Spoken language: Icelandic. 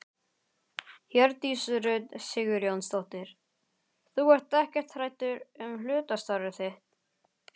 Hjördís Rut Sigurjónsdóttir: Þú ert ekkert hræddur um hlutastarfið þitt?